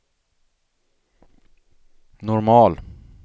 normal